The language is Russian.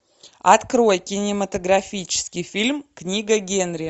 открой кинематографический фильм книга генри